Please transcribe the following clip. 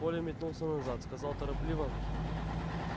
коля метнулся назад сказал торопливо